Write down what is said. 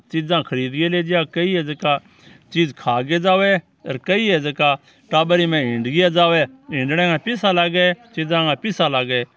चीज़ा खरीदी लीजा कई है जीका ची ज़खा भी जावे और कई है जीका टाबर इमे हिँड्ने जावे हिँड्ने का पीसिया लागे चीज़ा का पिसिया लागे।